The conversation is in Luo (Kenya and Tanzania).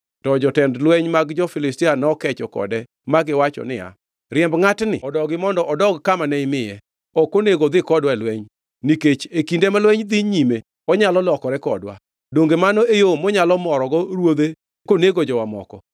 To jotend lweny mag jo-Filistia nokecho kode ma giwacho niya, “Riemb ngʼatni odogi mondo odog kama ne imiye. Ok onego odhi kodwa e lweny, nikech e kinde ma lweny dhi nyime onyalo lokore kodwa. Donge mano e yo monyalo morogo ruodhe konego jowa moko?